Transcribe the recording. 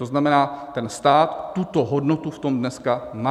To znamená, ten stát tuto hodnotu v tom dneska má.